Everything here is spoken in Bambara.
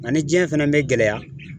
Nga ni jiɲɛ fɛnɛ be gɛlɛya